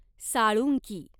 Salunkhe